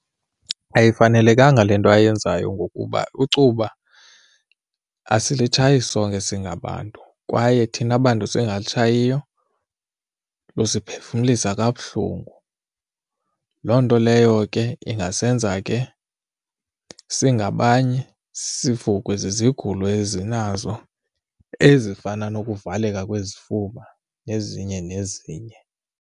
Ayifanelekanga le nto ayenzayo ngokuba icuba asilitshayi sonke singabantu kwaye thina bantu singatshayiyo lusiphefumlisa kabuhlungu. Loo nto leyo ke ingasenza ke singabanye sivukwe zizigulo ezinazo ezifana nokuvaleka kwezifuba nezinye nezinye.